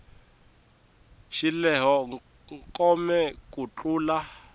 xi lehe kome ku tlula